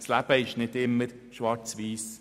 Das Leben ist nicht immer schwarz oder weiss;